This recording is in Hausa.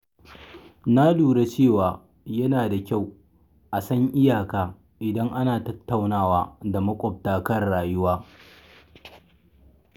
Na lura cewa yana da kyau a san iyaka idan ana tattaunawa da maƙwabta kan rayuwa.